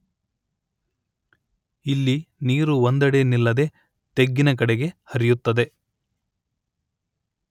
ಇಲ್ಲಿ ನೀರು ಒಂದೆಡೆ ನಿಲ್ಲದೆ ತೆಗ್ಗಿನ ಕಡೆಗೆ ಹರಿಯುತ್ತದೆ